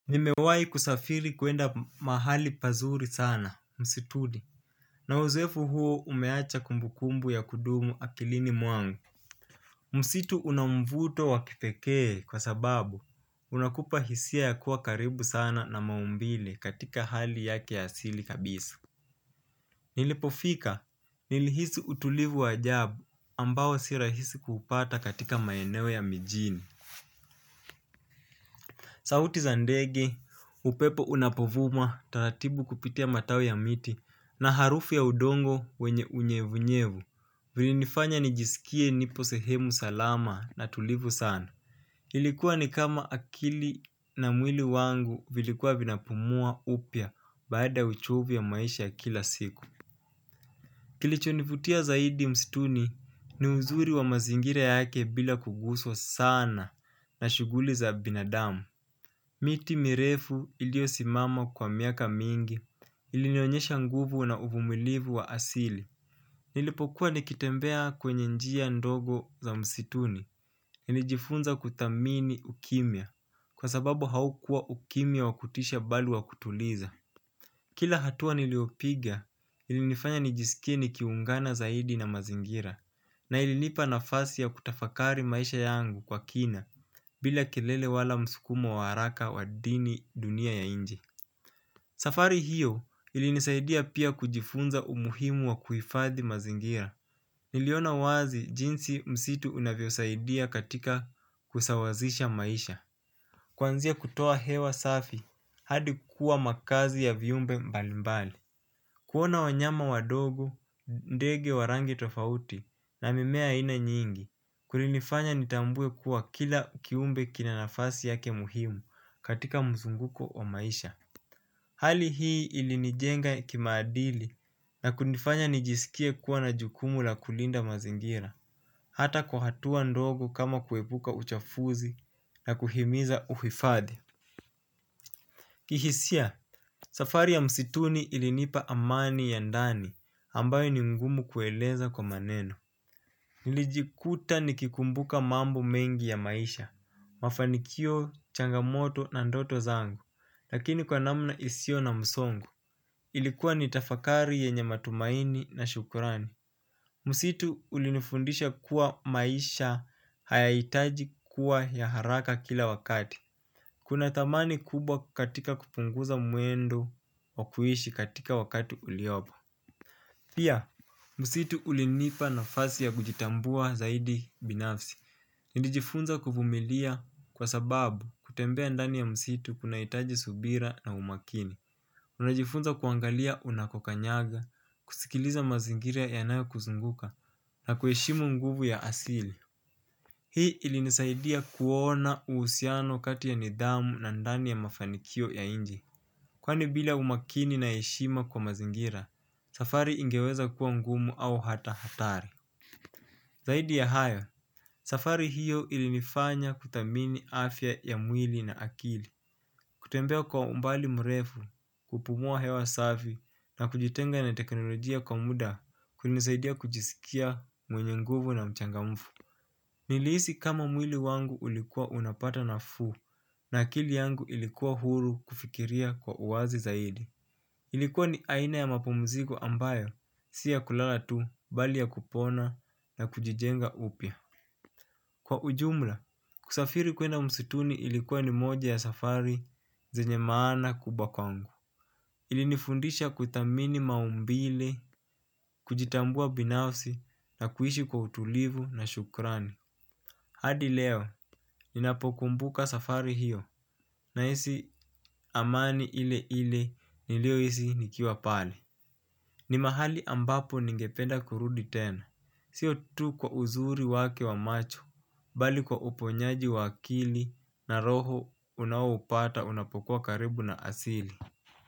Nimewai kusafiri kuenda mahali pazuri sana, msituni. Na uzoefu huo umeacha kumbukumbu ya kudumu akilini mwangu. Msitu unamvuto wakipekee kwa sababu unakupa hisia ya kuwa karibu sana na maumbile katika hali yake asili kabisa. Nilipofika, nilihisi utulivu wa ajabu ambao si rahisi kuupata katika maeneo ya mijini. Sauti za ndege, upepo unapovuma, taratibu kupitia matawi ya miti na harufu ya udongo wenye unyevunyevu, ulinifanya nijisikie nipo sehemu salama na tulivu sana. Ilikuwa ni kama akili na mwili wangu vilikuwa vinapumua upya baada ya uchovu ya maisha ya kila siku. Kilichonivutia zaidi mstuni ni uzuri wa mazingira yake bila kuguswa sana na shuguli za binadamu. Miti mirefu iliosimama kwa miaka mingi ilinionyesha nguvu na uvumilivu wa asili. Nilipokuwa nikitembea kwenye njia ndogo za msituni nilijifunza kuthamini ukimya kwa sababu haukuwa ukimya wa kutisha bali wa kutuliza. Kila hatua niliopiga ili nifanya nijisikie ni kiungana zaidi na mazingira na ilinipa nafasi ya kutafakari maisha yangu kwa kina. Bila kelele wala msukumo wa haraka wa dini dunia ya nje. Safari hiyo ilinisaidia pia kujifunza umuhimu wa kuhifadhi mazingira. Niliona wazi jinsi msitu unavyo saidia katika kusawazisha maisha. Kwanzia kutoa hewa safi hadi kuwa makazi ya viumbe mbalimbali. Kuona wanyama wadogo, ndege wa rangi tofauti na mimea aina nyingi kulinifanya nitambue kuwa kila kiumbe kinanafasi yake muhimu katika mzunguko wa maisha. Hali hii ilinijenga kimaadili na kunifanya nijisikie kuwa na jukumu la kulinda mazingira. Hata kwa hatua ndogo kama kuwepuka uchafuzi na kuhimiza uhifadhi. Kihisia, safari ya msituni ilinipa amani ya ndani ambayo ni ngumu kueleza kwa maneno. Nilijikuta nikikumbuka mambo mengi ya maisha, mafanikio changamoto na ndoto zangu, lakini kwa namna isio na msongo. Ilikuwa nitafakari yenye matumaini na shukurani. Msitu ulinifundisha kuwa maisha hayaitaji kuwa ya haraka kila wakati. Kuna thamani kubwa katika kupunguza mwendo wa kuishi katika wakati uliopo. Pia, msitu ulinipa nafasi ya kujitambua zaidi binafsi. Nilijifunza kuvumilia kwa sababu kutembea ndani ya msitu kuna itaji subira na umakini. Nilijifunza kuangalia unakokanyaga, kusikiliza mazingira yanayo kuzunguka na kuheshimu nguvu ya asili. Hii ilinisaidia kuona uhusiano kati ya nidhamu na ndani ya mafanikio ya inchi. Kwani bila umakini na heshima kwa mazingira, safari ingeweza kuwa ngumu au hata hatari. Zaidi ya hayo, safari hiyo ilinifanya kuthamini afya ya mwili na akili. Kutembea kwa umbali mrefu kupumua hewa safi na kujitenga na teknolojia kwa muda kunisaidia kujisikia mwenye nguvu na mchangamfu. Nilihisi kama mwili wangu ulikuwa unapata nafuu na akili yangu ilikuwa huru kufikiria kwa uwazi zaidi. Ilikuwa ni aina ya mapumziko ambayo, si ya kulala tu bali ya kupona na kujijenga upya. Kwa ujumla, kusafiri kuenda msutuni ilikuwa ni moja ya safari zenye maana kubwa kwangu. Ilinifundisha kutamini maumbile, kujitambua binafsi na kuishi kwa utulivu na shukrani. Hadi leo, ninapokumbuka safari hiyo nahisi amani ile ile niliohisi nikiwa pale. Ni mahali ambapo ningependa kurudi tena. Sio tu kwa uzuri wake wa macho, bali kwa uponyaji wa akili na roho unao upata unapokuwa karibu na asili.